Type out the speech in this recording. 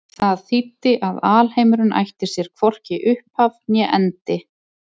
Það þýddi að alheimurinn ætti sér hvorki upphaf né endi.